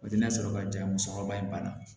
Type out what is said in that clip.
O tɛ na sɔrɔ ka jan musɔrɔba in banna